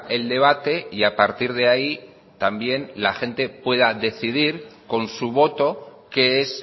el debate y a partir de ahí también la gente pueda decidir con su voto qué es